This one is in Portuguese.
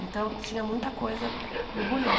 Então, tinha muita coisa burbulhando.